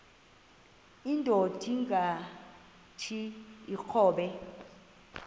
indod ingaty iinkobe